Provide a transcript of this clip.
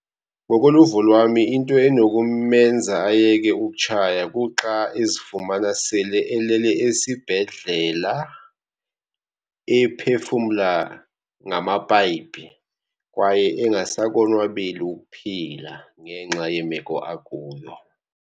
Ngokoluvo lwami into enokumenza ayeke ukutshaya kuxa ezifumana sele elele esibhedlela, ephefumla ngamapayipi kwaye engasakonwabeli ukuphila ngenxa yemeko akuyo.